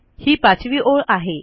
ही 5 वी ओळ आहे